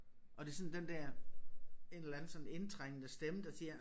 Og det sådan den der en eller anden sådan indtrængende stemme der siger